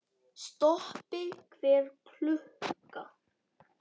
Stoppi hver klukka!